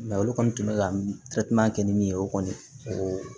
olu kɔni tun bɛ ka kɛ ni min ye o kɔni o